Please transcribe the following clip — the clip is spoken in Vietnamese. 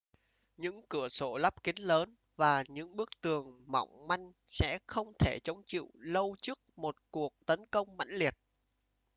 những cửa sổ lắp kính lớn và những bức tường mỏng manh sẽ không thể chống chịu lâu trước một cuộc tấn công mãnh liệt